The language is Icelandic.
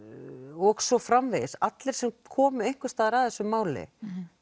og svo framvegis allir sem komu einhvers staðar að þessu máli